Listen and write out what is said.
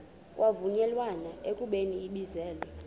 kwavunyelwana ekubeni ibizelwe